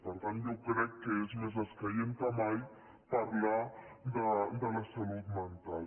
per tant jo crec que és més escaient que mai parlar de la salut mental